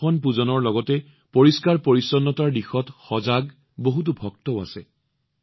বহুতো ভক্ত আছে যিয়ে বাবা কেদাৰৰ ধামত দৰ্শনপূজনৰ সৈতে পৰিষ্কাৰপৰিচ্ছন্নতাৰো অনুশীলন কৰি আছে